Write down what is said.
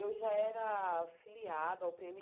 Eu já era filiada ao Pê êMe